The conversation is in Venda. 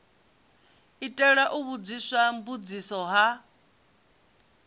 itela u vhudziswa mbudziso ha